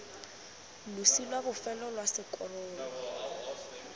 losi lwa bofelo lwa sekorolo